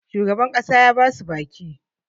shugaban ƙasa ya ba su baki